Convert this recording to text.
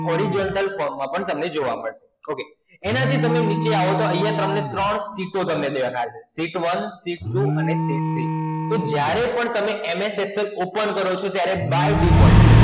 Horizontal form માં પણ તમને જોવા મળશે, Okay એનાથી તમને નીચે આવતા અહિયાં તમને ત્રણ Sheet દેખાશે Sheet એક Sheet બે અને Sheet ત્રણ. તો જ્યારે પણ તમે MS Excel open કરો છો ત્યારે By default